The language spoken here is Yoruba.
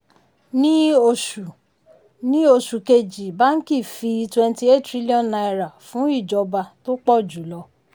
ní oṣù ní oṣù kejì báńkì fi twenty eight trillion náírà fún ìjọba tó pọ̀ jù lọ.